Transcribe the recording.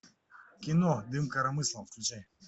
кино дым коромыслом включай